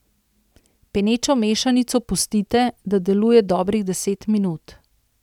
Penečo mešanico pustite, da deluje dobrih deset minut.